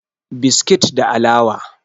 biskit da alawa